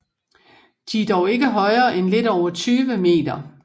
De er dog ikke højere end lidt over 20 m